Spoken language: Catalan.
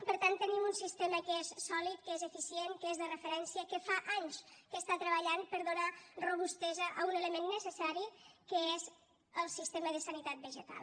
per tant tenim un sistema que és sòlid que és eficient que és de referència que fa anys que està treballant per donar robustesa a un element necessari que és el sistema de sanitat vegetal